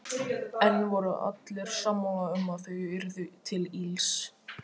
Enn voru allir sammála um að þau yrðu til ills.